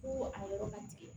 Ko a yɔrɔ ka gɛlɛn